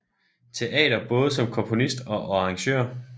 Teater både som komponist og arrangør